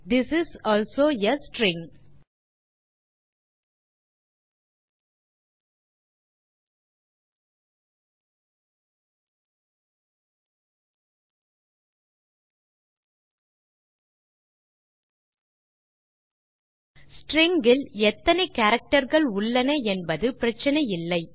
this is also a string string இல் எத்தனை character கள் உள்ளன என்பது பிரச்சினை இல்லை